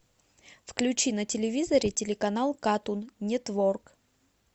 включи на телевизоре телеканал катун нетворк